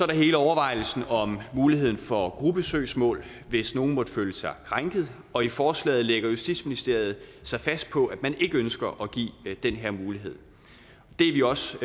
der hele overvejelsen om muligheden for gruppesøgsmål hvis nogle måtte føle sig krænket og i forslaget lægger justitsministeriet sig fast på at man ikke ønsker at give den her mulighed det er vi også